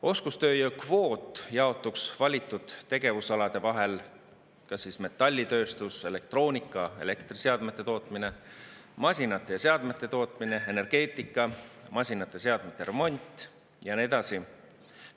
Oskustööjõu kvoot jaotuks valitud tegevusalade vahel: metallitööstus, elektroonika‑ ja elektriseadmete tootmine, masinate ja seadmete tootmine, energeetika, masinate ja seadmete remont ja nii edasi.